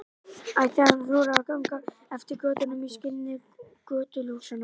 Ætti hann að þora að ganga eftir götunum í skini götuljósanna?